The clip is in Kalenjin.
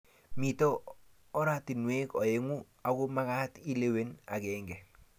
mito ortinwek oeng' aku mekat ilewen agenge